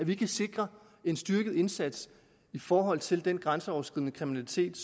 vi kan sikre en styrket indsats i forhold til den grænseoverskridende kriminalitet